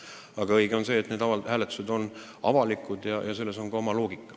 Aga õige on see, et niisugused hääletused on avalikud, selles on oma loogika.